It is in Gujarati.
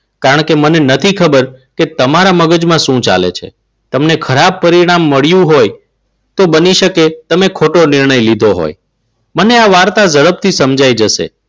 કારણ કે મને નથી ખબર કે તમારા મગજમાં શું ચાલે છે? તમને ખરાબ પરિણામ મળ્યું હોય તો બની શકે તમે ખોટો નિર્ણય લીધો હોય. મને આ વાર્તા ઝડપથી સમજાઈ જશે.